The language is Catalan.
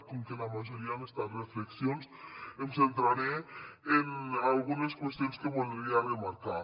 com que la majoria han estat reflexions em centraré en algunes qüestions que voldria remarcar